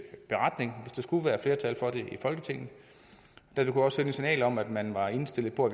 beretning hvis der skulle være flertal for det i folketinget det kunne også sende et signal om at man er indstillet på